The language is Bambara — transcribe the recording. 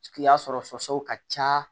Ki y'a sɔrɔ sɔsɔ ka ca